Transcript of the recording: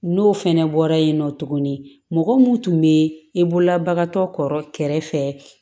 N'o fɛnɛ bɔra yen nɔ tuguni mɔgɔ mun tun bɛ i bolola bagantɔ kɔrɔ kɛrɛfɛ